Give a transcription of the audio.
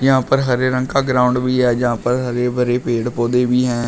यहा पर हरे रंग का ग्राउंड भी है जहा पर हरे भरे पेड़ पौधे भी हैं।